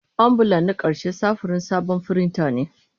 Ambulan na ƙarshe samfurin sabon firinta ne.